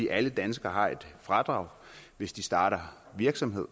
alle danskere har et fradrag hvis de starter virksomhed